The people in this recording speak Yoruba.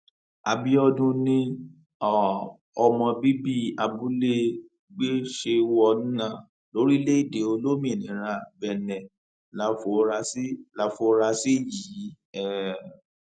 àbíọdún ni um ọmọ bíbí abúlé gbéṣèwọnà lórílẹèdè olómìnira benne láforasí láforasí yìí um